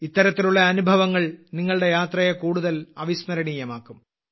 ഇത്തരത്തിലുള്ള അനുഭവങ്ങൾ നിങ്ങളുടെ യാത്രയെ കൂടുതൽ അവിസ്മരണീയമാക്കും